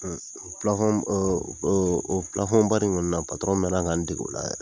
o baara in kɔni na na na ka n dege o la.